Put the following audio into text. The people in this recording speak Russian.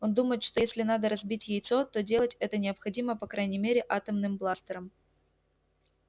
он думает что если надо разбить яйцо то делать это необходимо по крайней мере атомным бластером